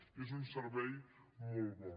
i és un servei molt bo